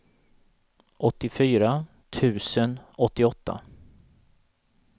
åttiofyra tusen åttioåtta